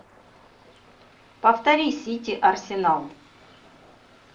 повтори сити арсенал